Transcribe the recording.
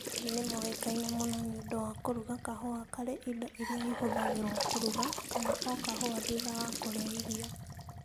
Thweri nĩ moĩkaine mũno nĩ ũndũ wa kũruga kahũa karĩ indo irĩa ihũthagĩrũo kũruga kana o kahũa thutha wa kũrĩa irio.